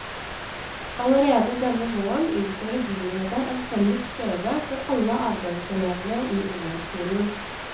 Allerede denne våren innfører byrådet en felles prøve for alle avgangselevene i ungdomsskolen.